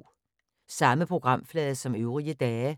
Samme programflade som øvrige dage